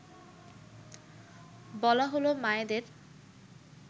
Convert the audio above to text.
বলা হলো মায়েদের